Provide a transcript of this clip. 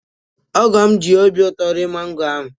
Ogo'm ji obi ụtọ rie mango ahụ